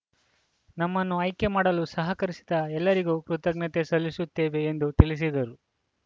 ನಮ್ಮನ್ನು ಆಯ್ಕೆ ಮಾಡಲು ಸಹಕರಿಸಿದ ಎಲ್ಲರಿಗೂ ಕೃತಜ್ಞತೆ ಸಲ್ಲಿಸುತ್ತೇವೆ ಎಂದು ತಿಳಿಸಿದರು